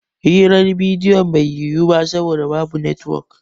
Hirar bidiyon bai yiwu ba saboda babu netwok